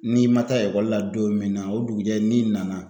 N'i ma taa ekɔli la don min na o dugujɛ n'i nana